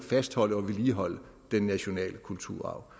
fastholde og vedligeholde den nationale kulturarv